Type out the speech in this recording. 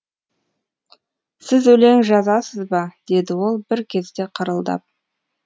сіз өлең жазасыз ба деді ол бір кезде қырылдап